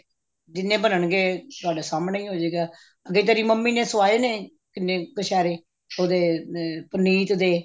ਜਿੰਨੇ ਬਣਨਗੇ ਤੁਹਾਡੇ ਸਾਹਮਣੇ ਹੀ ਹੋਜੇਗਾ ਅੱਗੇ ਤੇਰੀ ਮੰਮੀ ਨੇ ਸਵਾਏ ਨੇ ਕਿੰਨੇ ਕਛੇਰੇ ਉਹਦੇ ਅਮ ਪੁਨੀਤ ਦੇ